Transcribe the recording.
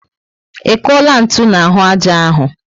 I kuola ntụ n'ahụ ájá áhù?